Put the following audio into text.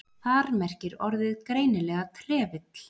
Þar merkir orðið greinilega trefill.